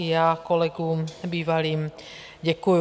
I já kolegům bývalým děkuju.